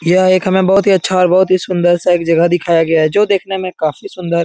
यह एक हमें बहोत ही अच्छा और बहोत ही सुंदर-सा एक जगह दिखाया गया है जो देखने में काफी सुंदर --